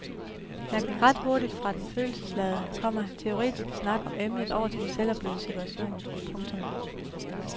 Jeg gik ret hurtigt fra den følelsesladede, komma teoretiske snak om emnet over til en selvoplevet situation. punktum